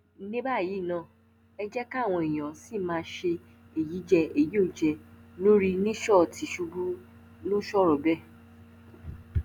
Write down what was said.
ní báyìí náà ẹ jẹ káwọn èèyàn ṣì máa ṣe èyíjẹ èyíòjẹ lórí níṣọ̀ tìṣubù ló sọ̀rọ̀ bẹ́ẹ̀